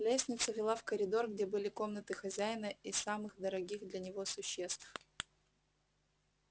лестница вела в коридор где были комнаты хозяина и самых дорогих для него существ